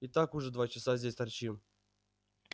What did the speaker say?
и так уже два часа здесь торчим